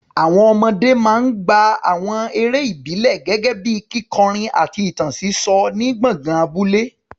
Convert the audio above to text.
Àwọn ọmọdé máa ń gbá àwọn eré ìbílẹ̀ gẹ́gẹ́ bíi kíkọrin àti ìtàn sísọ ní gbọ̀ngàn abúlé.